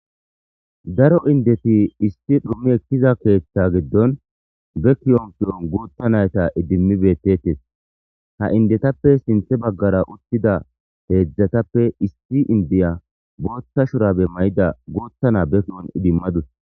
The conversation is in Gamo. Daro indeti issi dhumi besiza ketha gidon be kiyo gutha nayta idimidi detes ha indetappe sinthe bagara uttidayti issi indiya botha shurabe mayidara botha na idimadis